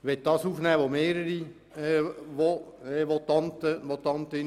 Ich möchte ein Thema aufnehmen, was mehrere Votantinnen und Votanten erwähnt haben.